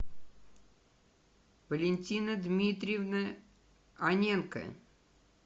валентина дмитриевна аненко